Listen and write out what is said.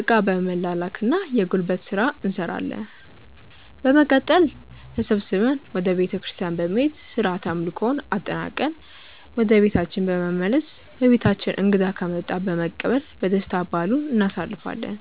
እቃ በመላላክ እና የጉልበት ስራ እንሰራለን። በመቀጠል ተሰብስበን ወደ ቤተክርስቲያን በመሄድ ስርዓተ አምልኮውን አጠናቅቀን ወደ ቤታችን በመመለስ በቤታችን እንግዳ ከመጣ በመቀበል በደስታ በዓሉን እናሳልፋለን።